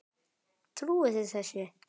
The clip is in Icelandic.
Trúið þið þessu?